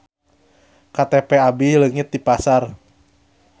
KTP abi leungit di pasar